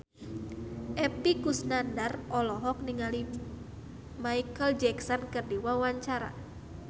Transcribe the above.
Epy Kusnandar olohok ningali Micheal Jackson keur diwawancara